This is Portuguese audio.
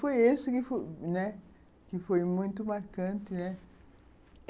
Foi esse que foi né muito marcante né